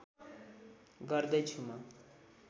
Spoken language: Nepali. गर्दै छु म